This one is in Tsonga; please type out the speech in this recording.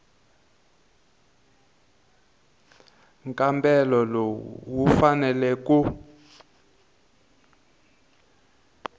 nkambelo lowu wu faneleke ku